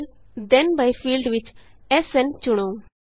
ਫਿਰ ਥੇਨ byਫੀਲਡ ਵਿਚ SNਚੁਣੋ